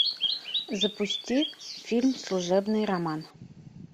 запусти фильм служебный роман